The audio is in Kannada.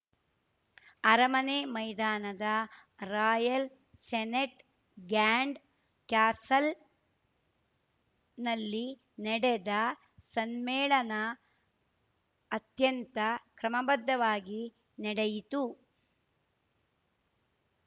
ಅರಮನೆ ಮೈದಾನದ ರಾಯಲ್‌ ಸೆನೆಟ್‌ ಗ್ಯಾಂಡ್‌ ಕ್ಯಾಸಲ್‌ನಲ್ಲಿ ನೆಡೆದ ಸಮ್ಮೇಳನ ಅತ್ಯಂತ ಕ್ರಮಬದ್ಧವಾಗಿ ನಡೆಯಿತು